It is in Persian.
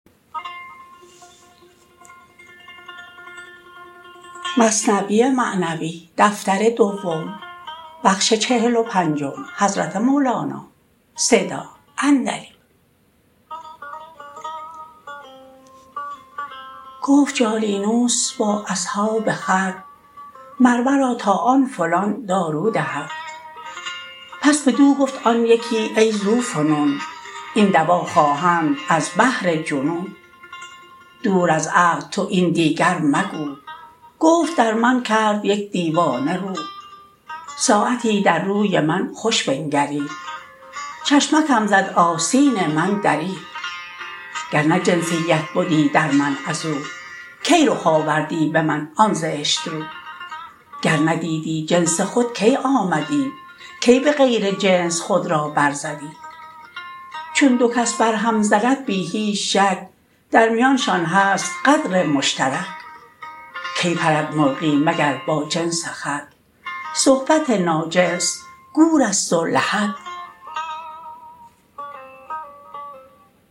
گفت جالینوس با اصحاب خود مر مرا تا آن فلان دارو دهد پس بدو گفت آن یکی ای ذو فنون این دوا خواهند از بهر جنون دور از عقل تو این دیگر مگو گفت در من کرد یک دیوانه رو ساعتی در روی من خوش بنگرید چشمکم زد آستین من درید گرنه جنسیت بدی در من ازو کی رخ آوردی به من آن زشت رو گر ندیدی جنس خود کی آمدی کی به غیر جنس خود را بر زدی چون دو کس بر هم زند بی هیچ شک در میانشان هست قدر مشترک کی پرد مرغی مگر با جنس خود صحبت ناجنس گورست و لحد